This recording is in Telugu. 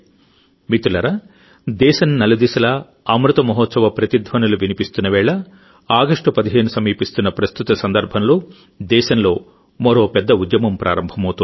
మిత్రులారాదేశం నలు దిశలా అమృత మహోత్సవప్రతిధ్వనులు వినిపిస్తున్న వేళ ఆగస్ట్ 15 సమీపిస్తోన్న ప్రస్తుత సందర్భంలో దేశంలో మరో పెద్ద ఉద్యమం ప్రారంభమవుతోంది